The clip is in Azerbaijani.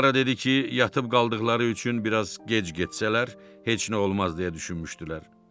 Klara dedi ki, yatıb qaldıqları üçün biraz gec getsələr, heç nə olmaz deyə düşünmüşdülər.